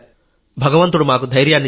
భగవంతుడు మాకు ధైర్యాన్ని ఇచ్చాడు